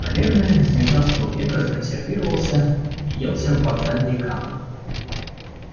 наверное с девятнадцатого века законсервировался въелся в вокзальные камни